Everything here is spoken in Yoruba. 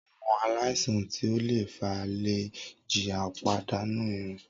Awọn alaisan ti o le fa le jiya pipadanu irun.